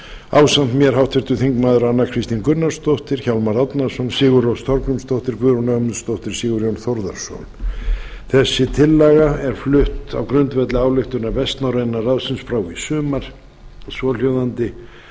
ásamt mér háttvirtir þingmenn anna kristín gunnarsdóttir hjálmar árnason sigurrós þorgrímsdóttir guðrún ögmundsdóttir og sigurjón þórðarson þessi tillaga er flutt á grundvelli ályktunar vestnorræna ráðsins frá í sumar svohljóðandi